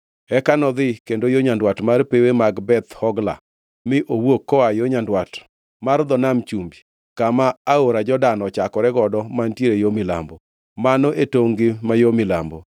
Eka nodhi kendo yo nyandwat mar pewe mag Beth Hogla mi owuok koa yo nyandwat mar dho Nam Chumbi, kama aora Jordan ochakore godo mantiere yo milambo. Mano e tongʼ-gi ma yo milambo.